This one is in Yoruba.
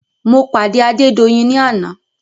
Mo pàdé Adédoyin ní àná.